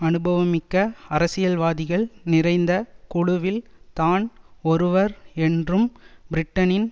அனுபவமிக்க அரசியல்வாதிகள் நிறைந்த குழுவில் தான் ஒருவர் என்றும் பிரிட்டனின்